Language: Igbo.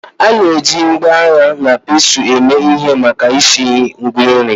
A na-eji ngwa agha na pestle eme ihe maka isu Ngwa nri